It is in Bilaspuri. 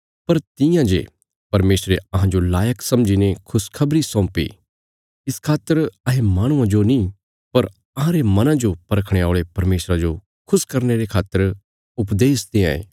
पर तियां जे परमेशरे अहांजो लायक समझीने खुशखबरी सौंपी इस खातर अहें माहणुआं जो नीं पर अहांरे मना जो परखणे औल़े परमेशरा जो खुश करने रे खातर उपदेश देआंये